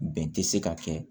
Bɛn tɛ se ka kɛ